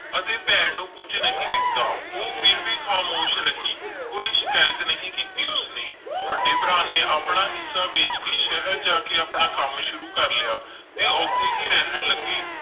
ਅਤੇ ਭੈਣ ਨੂੰ ਕੁੱਝ ਨਹੀਂ ਦਿੱਤਾ, ਉਹ ਫਿਰ ਵੀ ਖਾਮੋਸ਼ ਰਹੀ, ਕੋਈ ਸ਼ਿਕਾਇਤ ਨਹੀਂ ਕੀਤੀ ਉਸਨੇ, ਵੱਡੇ ਭਰਾ ਨੇ ਆਪਣਾ ਹਿੱਸਾ ਵੇਚ ਕੇ ਸ਼ਹਿਰ ਜਾ ਕੇ ਆਪਣਾ ਕੰਮ ਸ਼ੁਰੂ ਕਰ ਲਿਆ ਤੇ ਉੱਥੇ ਹੀ ਰਹਿਣ ਲੱਗੇ।